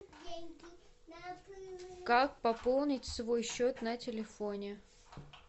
как пополнить свой счет на телефоне